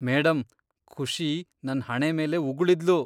Madam, Khushi ನನ್ ಹಣೆ ಮೇಲೆ ಉಗುಳಿದ್ಲು.